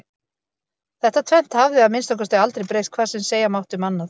Þetta tvennt hafði að minnsta kosti aldrei breyst hvað sem segja mátti um annað.